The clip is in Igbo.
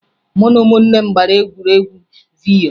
Mụ na ụmụnne m gbara egwuregwu vidyo